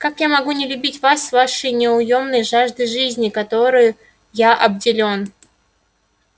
как я могу не любить вас с вашей неуёмной жаждой жизни которой я обделён